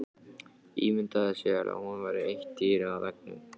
Ímyndaði sér að hún væri eitt dýrið á veggnum.